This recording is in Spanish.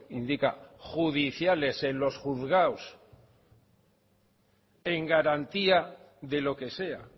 indica judiciales en los juzgados en garantía de lo que sea